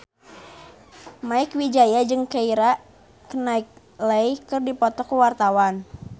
Mieke Wijaya jeung Keira Knightley keur dipoto ku wartawan